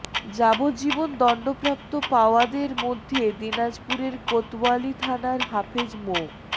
যাবজ্জীবন দণ্ডপ্রাপ্ত পাওয়াদের মধ্যে দিনাজপুরের কোতয়ালি থানার হাফেজ মো